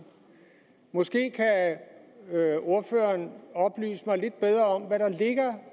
måske kan ordføreren oplyse mig lidt bedre om hvad der ligger